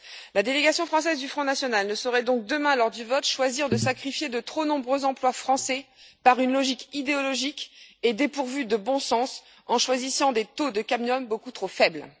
La délégation française du Front national ne saurait donc demain, lors du vote, choisir de sacrifier de trop nombreux emplois français par une logique idéologique et dépourvue de bon sens, en choisissant des taux de cadmium beaucoup trop faibles.